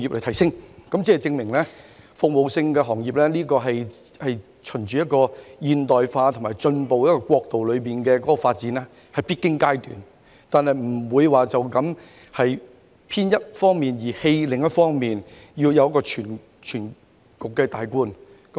由此可以證明，服務業是朝向現代化及進步國度發展中的必經階段，但不能偏向一面而放棄另一方面，要有綜觀全局的概念。